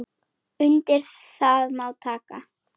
Undir það má taka.